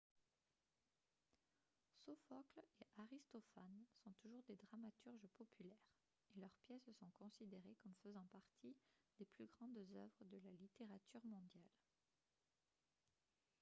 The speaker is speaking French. sophocle et aristophane sont toujours des dramaturges populaires et leurs pièces sont considérées comme faisant partie des plus grandes œuvres de la littérature mondiale